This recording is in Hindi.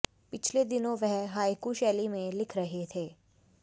पिछले दिनों वह हायकू शैली में लिख रहे थे